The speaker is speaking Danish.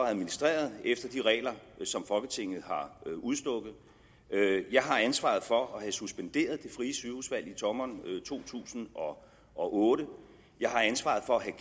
administreret efter de regler som folketinget har udstukket jeg har ansvaret for at have suspenderet det frie sygehusvalg i sommeren to tusind og otte jeg har ansvaret for at have